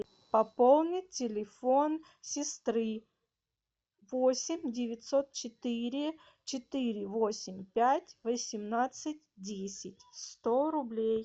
пополни телефон сестры восемь девятьсот четыре четыре восемь пять восемнадцать десять сто рублей